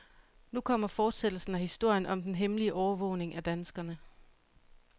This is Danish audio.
Nu kommer fortsættelsen af historien om den hemmelige overvågning af danskerne.